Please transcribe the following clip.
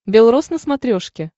белрос на смотрешке